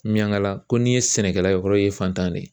Miɲankala ko ni ye sɛnɛkɛla ye o kɔrɔ ye i ye fantan de ye.